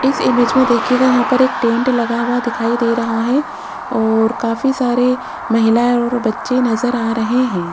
इस इमेज में दिखेगा यहां पर एक टेंट लगा हुआ दिखाई दे रहा है और काफी सारे महिलाएं और बच्चे नजर आ रहे हैं।